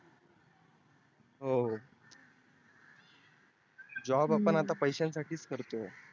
हो हो job आपण आत्ता पैशा साठीच करतो